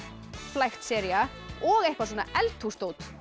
flækt sería og eitthvað eldhúsdót